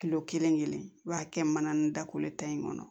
kilo kelen kelen i b'a kɛ mana ni da kolo ta in kɔnɔ